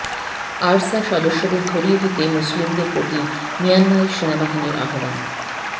ARSA সদস্যদের ধরিয়ে দিতে মুসলিমদের প্রতি মিয়ানমারের সেনাবাহিনীর আহ্বান